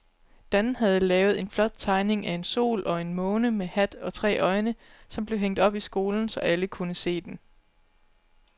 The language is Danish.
Dan havde lavet en flot tegning af en sol og en måne med hat og tre øjne, som blev hængt op i skolen, så alle kunne se den.